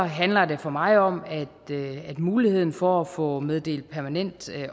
handler det for mig om at muligheden for at få meddelt permanent